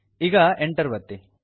ಈಗ Enter ಒತ್ತಿ